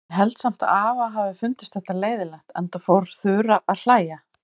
Ég held samt að afa hafi fundist þetta leiðinlegt, enda fór Þura að hlæja.